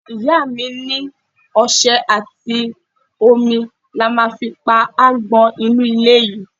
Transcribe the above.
Ìyá mi ní ọṣẹ àti omi la ma fi pa agbon inú ilé yìí.